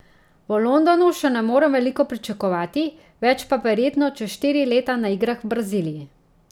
V Londonu še ne morem veliko pričakovati, več pa verjetno čez štiri leta na igrah v Braziliji.